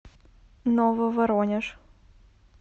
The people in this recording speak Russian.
нововоронеж